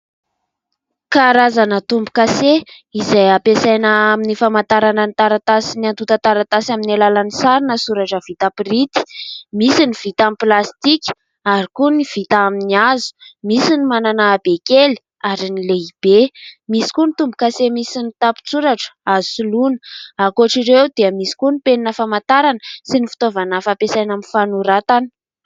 Karazana tombo-kase izay hampiasaina amin'ny famantarana ny taratasy sy ny antota taratasy vita pirinty. Misy ny vita amin'ny plasitika ary koa ny vita amin'ny hazo. Misy ny manana habe kely ary ny lehibe ; misy koa ny tombo-kase, misy ny tapin-tsoratra. Azo soloina ankoatr' ireo dia misy koa ny penina famantarana sy ny fitaovana fampiasana amin'ny fanoratana.